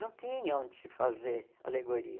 Não tinha onde se fazer alegoria.